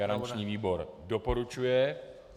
Garanční výbor doporučuje.